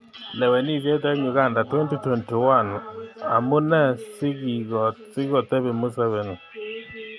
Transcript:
Lewenisiet eng Uganda 2021: Amune sikikotepi Museveni?